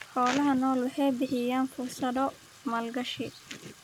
Xoolaha nool waxay bixiyaan fursado maalgashi.